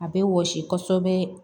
A bɛ wɔsi kosɛbɛ